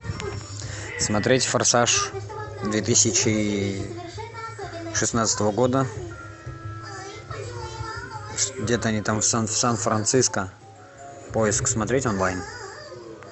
смотреть форсаж две тысячи шестнадцатого года где то они там в сан франциско поиск смотреть онлайн